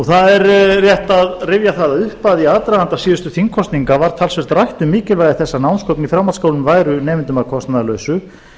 það er rétt að rifja það upp að í aðdraganda síðustu þingkosninga var talsvert rætt um mikilvægi þess að námsgögn í framhaldsskólum væru nemendum að kostnaðarlausu